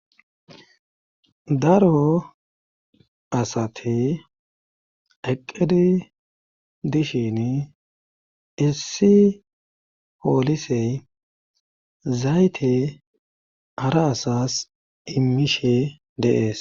daro asate eqqedi dishin issi poolisey zayte ara asas immishe deees